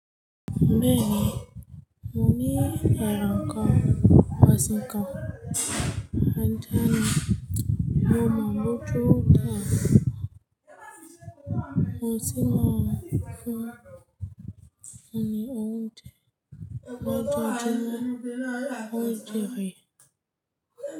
Bẹ́ẹ̀ni, mo ní èran kan ọ̀sìn kan, àjà ní. Mo máa gbótó tán wọ́n sì máa fún mi ní oúnjẹ lọ́jọ́ ọjọ́ náà oúnjẹ rẹ̀.